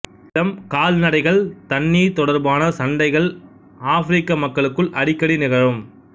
நிலம்கால்நடைகள் தண்ணீர் தொடர்பான சண்டைகள் ஆப்ரிக்க மக்களுக்குள் அடிக்கடி நிகழும்